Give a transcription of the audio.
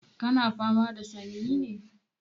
Ka na fama da sanyi ne?